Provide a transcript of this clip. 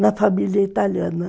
na família italiana.